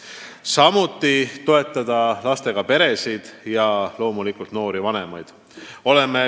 Me tahame täiendavalt toetada lastega peresid, sh loomulikult noori vanemaid.